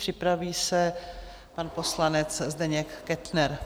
Připraví se pan poslanec Zdeněk Kettner.